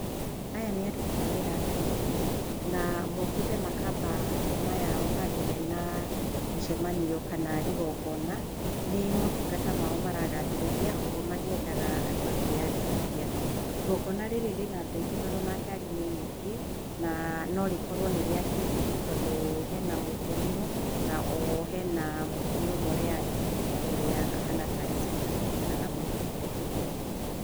Aya nĩ aruti a wĩra a bengi na mokĩte makamba hema yao handũ he na mũcemanio kana igongona. Nĩ motungata mao maragathĩrĩria, oho makiethaga andũ a kwĩyandĩkithia. Igongona rĩrĩ rĩna andũ aingĩ tondũ ona ngari nĩ nyingĩ na no rĩkorwo nĩ rĩa kĩndini tondũ he na mũkũrinũ na oho hena mũtumia ũmwe ũreandĩkithia ũrĩa ũhana tarĩ sister kũringana na mwĩhumbĩre.